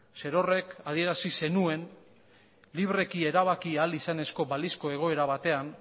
zerorrek adierazi zenuen libreki erabaki ahal izanezko balizko egoera batean